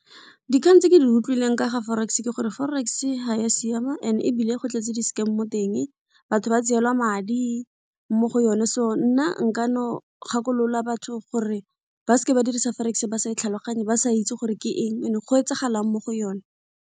Dikgang tse ke di utlwileng ka ga forex ke gore forex ha ya siama and ebile go tletse di-scam mo teng, batho ba tseelwa madi mo go yone so nna nka no gakolola batho gore ba seke ba dirisa forex ba sa e tlhaloganye, ba sa itse gore ke eng and go etsagalang mo go yone.